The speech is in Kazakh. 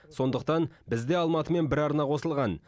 сондықтан бізде алматымен бір арна қосылған